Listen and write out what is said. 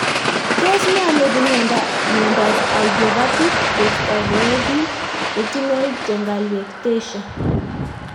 Tos nee neipu miondop idiopathic juxtafoveal retinal telangiectasia?